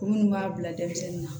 Minnu b'a bila denmisɛnninw na